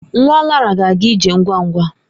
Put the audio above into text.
Nwa Lara ga-aga ije ngwa ngwa.